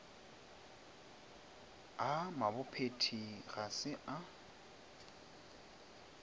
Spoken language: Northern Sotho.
a mabophethi ga se a